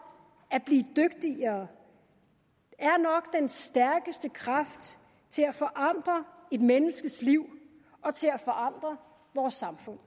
at blive dygtigere er nok den stærkeste kraft til at forandre et menneskes liv og til at forandre vores samfund